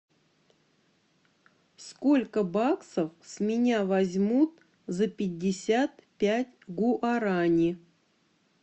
сколько баксов с меня возьмут за пятьдесят пять гуарани